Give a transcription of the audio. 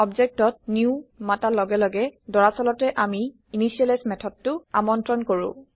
objectত new মাতা লগে লগে দৰাচলতে আমি initializeইনিচিয়েলাইজ মেথডটো আমন্ত্ৰণ কৰো